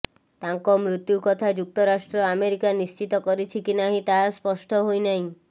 ତାଙ୍କ ମୃତ୍ୟୁ କଥା ଯୁକ୍ତରାଷ୍ଟ୍ର ଆମେରିକା ନିଶ୍ଚିତ କରିଛି କି ନାହିଁ ତାହା ସ୍ପଷ୍ଟ ହୋଇ ନାହିଁ